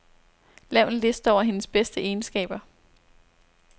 Lav en liste over hendes bedste egenskaber.